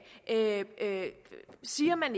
siger man